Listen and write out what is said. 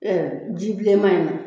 Ɛɛ ji bilenma in na